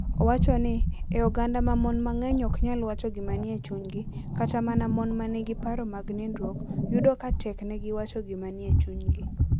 Owacho ni, e oganda ma mon mang'eny ok nyal wacho gima nie chunygi, kata mana mon ma nigi paro mag nindruok, yudo ka teknegi wacho gima nie chunygi.